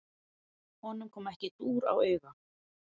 Honum kom ekki dúr á auga.